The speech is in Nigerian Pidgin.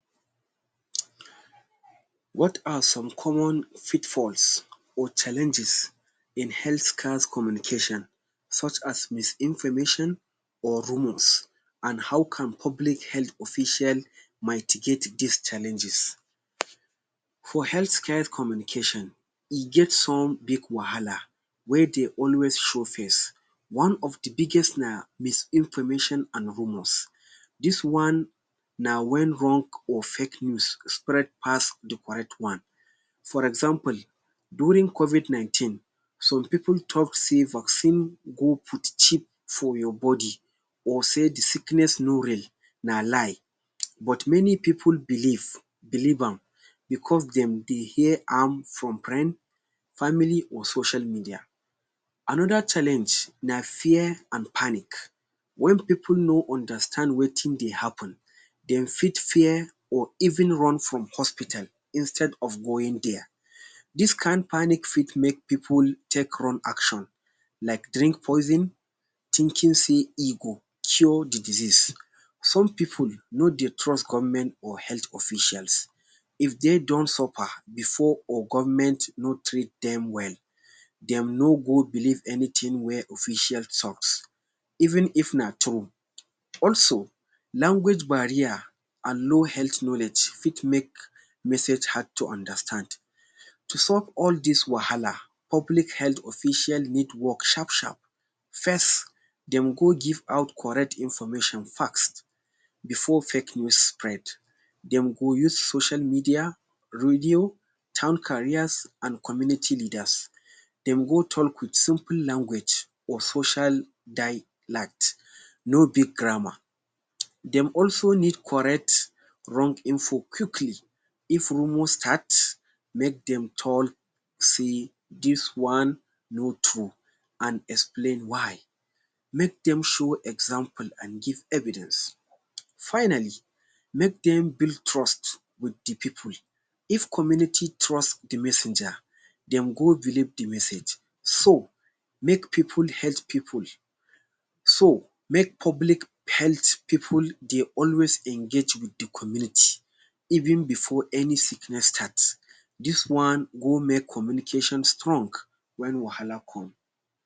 What are some common fitfalls or challenges in health scarce communication such as misinformation or rumors an how can public health official mitigate dis challenges? For health care communication, e get some big wahala wey dey always show face. One of the biggest na misinformation an rumors. Dis one na wen wrong or fake news spread pass the correct one. For example, during covid nineteen, some pipu talk sey vaccine go put for your body or say the sickness no real, na lie. But many pipu believe believe am becos dem dey hear am from friend, family, or social media. Another challenge na fear an panic. Wen pipu no understand wetin dey happen, dem fit fear or even run from hospital instead of going there. Dis kain panic fit make pipu take wrong action like drink poison thinking sey e go cure the disease. Some pipu no dey trust government or health officials. If de don suffer before or government no treat dem well, dem no go believe anything wey official talks even if na true. Also, language barrier an low health knowledge fit make message hard to understand. To solve all dis wahala, public health official need work sharp-sharp. First, dem go give out correct information fast before fake news spread. Dem go use social media, radio, town carriers, an community leaders. Dem go talk with simple language or social dialect, no big grammar. Dem also need correct wrong info quickly. If rumor start, make dem tall sey dis one no true, an explain why. Make dem show example an give evidence. Finally, make dem build trust with the pipu. If community trust the messenger, dem go believe the message. So make so make pipu pipu. So make public health pipu dey always engage with the community even before any sickness start. Dis one go make communication strong wen wahala come.